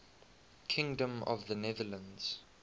kingdom of the netherlands